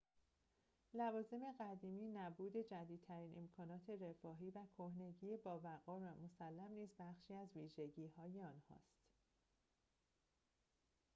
لوازم قدیمی نبود جدیدترین امکانات رفاهی و کهنگی باوقار و مسلم نیز بخشی از ویژگی‌های آنهاست